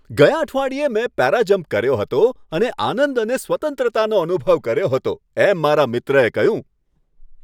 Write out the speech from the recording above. ગયા અઠવાડિયે મેં પેરાજમ્પ કર્યો હતો અને આનંદ અને સ્વતંત્રતાનો અનુભવ કર્યો હતો, એમ મારા મિત્રએ કહ્યું.